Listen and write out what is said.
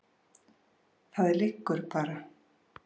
Það liggur bara.